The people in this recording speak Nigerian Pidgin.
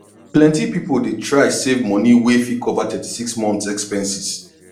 plenty people dey try save money wey fit cover 36 months expenses